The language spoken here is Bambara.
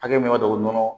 Hakɛ min ka dɔgɔ nɔnɔ